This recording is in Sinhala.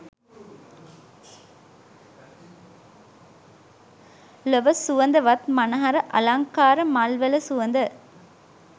ලොව සුවඳවත් මනහර අලංකාර මල්වල සුවඳ